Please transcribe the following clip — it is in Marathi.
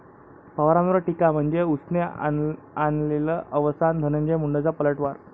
पवारांवर टीका म्हणजे उसने आणलेलं अवसान, धनंजय मुंडेंचा पलटवार